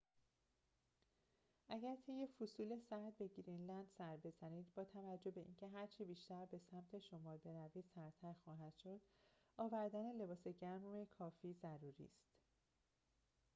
اگر طی فصول سرد به گرینلند سر بزنید باتوجه به اینکه هرچه بیشتر به سمت شمال بروید، سردتر خواهد شد، آوردن لباس گرم کافی ضروری است